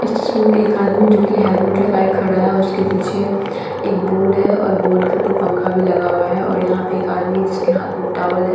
इस तस्वीर में एक आदमी जोकि हेलमेट लगाए खड़ा हैऔर उसके पीछे एक बोर्ड हैऔर बोर्ड के ऊपर पंखा भी लगा हुआ हैऔर यहाँ पे एक आदमी जिसके हाथ में टावल है।